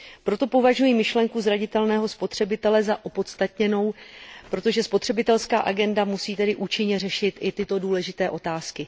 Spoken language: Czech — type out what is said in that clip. Proto považuji myšlenku zranitelného spotřebitele za opodstatněnou, protože spotřebitelská agenda musí tedy účinně řešit i tyto důležité otázky.